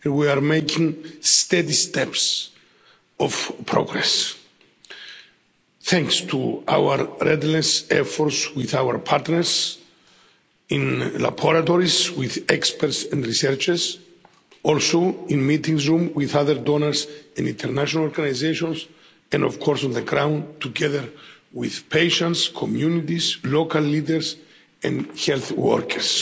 We are making steady steps of progress thanks to our relentless efforts with our partners in laboratories with experts and researchers, in meeting rooms with other donors and international organisations and on the ground together with patients, communities, local leaders and health workers.